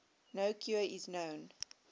no cure is known